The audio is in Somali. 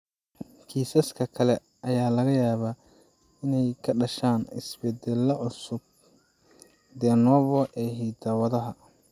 Kiisaska kale ayaa laga yaabaa inay ka dhashaan isbeddellada cusub (de novo) ee hidda-wadaha.